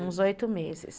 Uns oito meses.